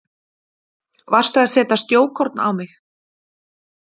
Varstu að setja snjókorn á mig?